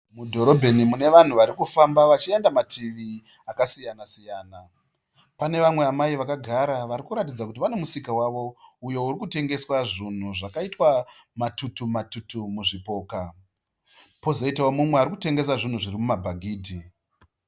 Mudhorobheni mune vanhu varikufamba vachienda mativi akasiyana-siyana. Pane vamwe amai vakagara varikuratidza kuti vane musika wavo uyo urikutengeswa zvinhu zvakaitwa matutu matutu muzvipoka. Pozoitawo mumwe arikutengesa zvinhu zviri muma bhagidhi.